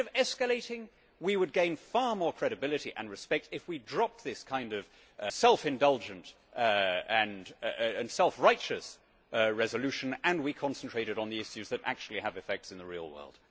Instead of escalating, we would gain far more credibility and respect if we dropped this kind of self indulgent and self righteous resolution and we concentrated on the issues that actually have effects on the real world.